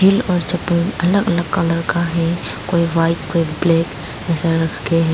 अलग अलग कलर का है कोई व्हाइट कोई ब्लैक --